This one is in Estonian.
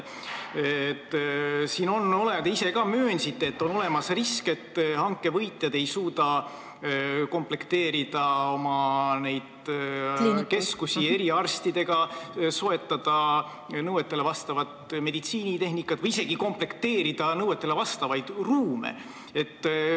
Te ise ka möönsite, et siin on olemas risk, et hanke võitjad ei suuda oma keskusi eriarstidega komplekteerida, soetada nõuetele vastavat meditsiinitehnikat või isegi mitte nõuetele vastavaid ruume komplekteerida.